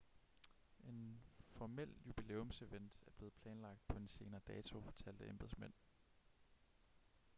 en formel jubilæumsevent er blevet planlagt på en senere dato fortalte embedsmænd